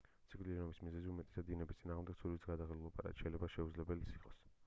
სიკვდილიანობის მიზეზი უმეტეს დინების წინააღმდეგ ცურვისგან გადაღლილობაა რაც შეიძლება შეუძლებელიც იყოს